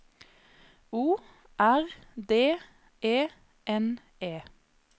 O R D E N E